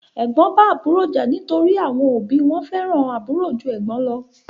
Ẹ̀gbọ́n bá àbúrò jà nítorí àwọn òbí wọ́n fẹ́ràn àbúrò jú ẹ̀gbọ́n lọ.